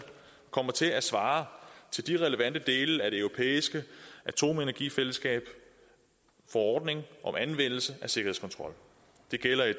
kommer til at svare til de relevante dele af det europæiske atomenergifællesskabs forordning om anvendelse af sikkerhedskontrol det gælder i